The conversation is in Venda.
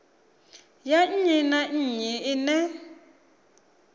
ya nnyi na nnyi ḽine